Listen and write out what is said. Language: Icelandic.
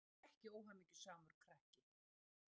Ég var ekki óhamingjusamur krakki.